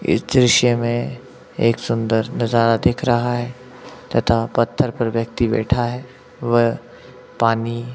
इस दृश्य में एक सुंदर नजारा दिख रहा है तथा पत्थर पर व्यक्ति बैठा है वह पानी--